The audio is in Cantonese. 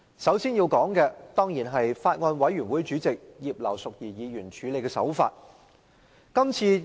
首先要說的，是法案委員會主席葉劉淑儀議員處理《條例草案》的手法。